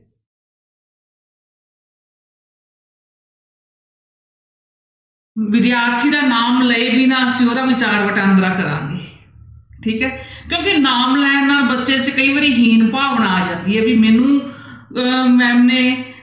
ਵਿਦਿਆਰਥੀ ਦਾ ਨਾਮ ਲਏ ਬਿਨਾਂ ਅਸੀਂ ਉਹਦਾ ਵਿਚਾਰ ਵਟਾਂਦਰਾ ਕਰਾਂਗੇ ਠੀਕ ਹੈ ਕਿਉਂਕਿ ਨਾਮ ਲੈਣ ਨਾਲ ਬੱਚੇ 'ਚ ਕਈ ਵਾਰੀ ਹੀਨ ਭਾਵਨਾ ਆ ਜਾਂਦੀ ਹੈ ਵੀ ਮੈਨੂੰ ਅਹ ma'am ਨੇ